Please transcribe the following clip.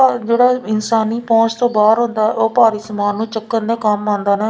ਜਿਹੜਾ ਇਨਸਾਨੀ ਪਹੁੰਚ ਤੋਂ ਬਾਹਰ ਹੁੰਦਾ ਉਹ ਭਾਰੀ ਸਮਾਨ ਨੂੰ ਚੱਕਣ ਦੇ ਕੰਮ ਆਉਂਦਾ ਨਾ --